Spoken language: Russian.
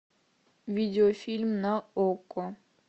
видеофильм на окко